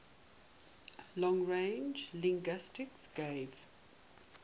long range linguistics gave